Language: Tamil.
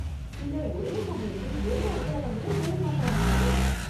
சிலர், ஒரே சமயத்தில் ரெண்டு அலுவலகங்களில் வேலை பார்க்கறாங்களாமே...